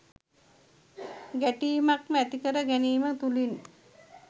ගැටීමක්ම ඇති කර ගැනීම තුළින්